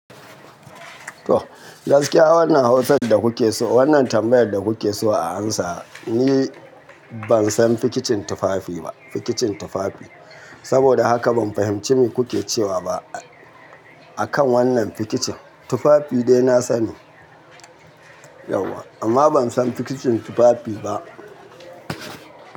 To, gaskiya wannan hausan da kuke so, wannan tambayar da kuke so a amsa, ni ban san fikicin tufafi ba, fikicin tufafi. Saboda haka ban fahimci me kuke cewa ba akan wannan fikicin. Tufafi dai na sani yauwa amma ban san fikicin tufafi ba.